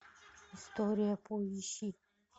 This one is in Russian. история поищи